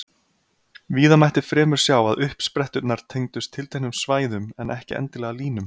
Víða mætti fremur sjá að uppspretturnar tengdust tilteknum svæðum, en ekki endilega línum.